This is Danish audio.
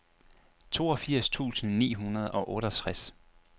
toogfirs tusind ni hundrede og otteogtres